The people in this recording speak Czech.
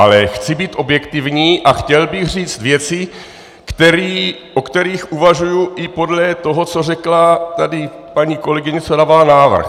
Ale chci být objektivní a chtěl bych říct věci, o kterých uvažuji i podle toho, co řekla tady paní kolegyně, co dávala návrh.